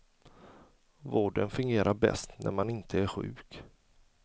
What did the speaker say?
Vården fungerar bäst när man inte är sjuk.